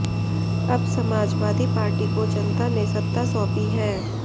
अब समाजवादी पार्टी को जनता ने सत्ता सौंपी है